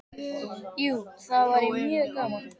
Jú, það væri mjög gaman.